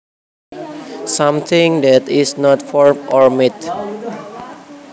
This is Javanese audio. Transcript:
Something that is not formed or made